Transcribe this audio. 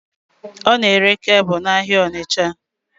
Ọ n'ere kebụl n'ahịa Ọnitsha